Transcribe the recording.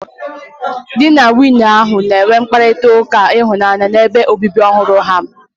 Di na nwunye ahụ na-enwe mkparịta ụka ịhụnanya n'ebe obibi ọhụrụ ha.